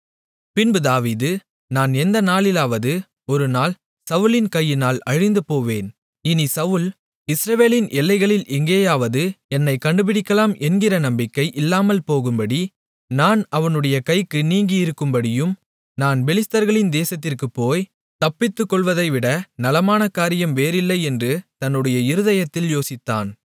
பின்பு தாவீது நான் எந்த நாளிலாவது ஒரு நாள் சவுலின் கையினால் அழிந்து போவேன் இனிச் சவுல் இஸ்ரவேலின் எல்லைகளில் எங்கேயாவது என்னைக் கண்டுபிடிக்கலாம் என்கிற நம்பிக்கை இல்லாமல்போகும்படியும் நான் அவனுடைய கைக்கு நீங்கியிருக்கும்படியும் நான் பெலிஸ்தர்களின் தேசத்திற்குப் போய் தப்பித்துக்கொள்வதை விட நலமான காரியம் வேறில்லை என்று தன்னுடைய இருதயத்தில் யோசித்தான்